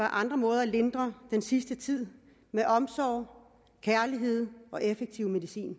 andre måder at lindre den sidste tid med omsorg kærlighed og effektiv medicin